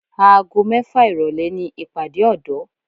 Aago mẹ́fà ìrọ̀lẹ́ ni ìpàdé ọ̀dọ́